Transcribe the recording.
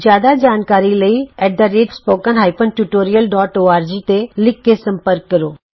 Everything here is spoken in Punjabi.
ਜਿਆਦਾ ਜਾਣਕਾਰੀ ਲਈ at the rate spoken hyphen tutorial dot org spoken tutorialਓਰਗ ਤੇ ਲਿਖ ਕੇ ਸੰਪਰਕ ਕਰੋ